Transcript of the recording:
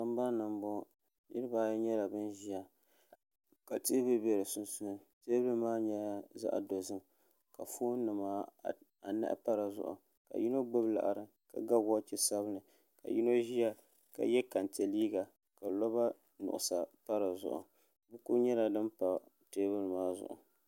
sambani n bɔŋɔ niriba ayi nyɛla ban ʒiya ka teebuli be bɛ sunsuuni teebuli maa nyɛla zaɣ' dozim ka foon nima anahi pa di zuɣu ka yino gbubi liɣiri ka ga woochi sabinli ka yino ʒiya ka ye kenche liiga ka loba nyɔɣisa pa di zuɣu.